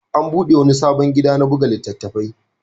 An buɗe wani sabon gida na buga littattafai.